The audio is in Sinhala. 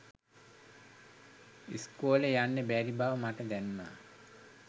ඉස්කෝලෙ යන්න බැරි බව මට දැනුනා.